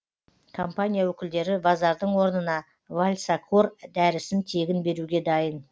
компания өкілдері вазардың орнына вальсакор дәрісін тегін беруге дайын